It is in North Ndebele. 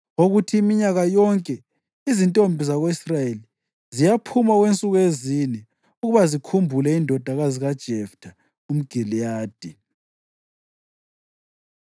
wokuthi minyaka yonke izintombi zako-Israyeli ziyaphuma okwensuku ezine ukuba zikhumbule indodakazi kaJeftha umGiliyadi.